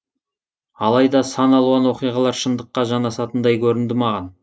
алайда сан алуан оқиғалар шындыққа жанасатындай көрінді маған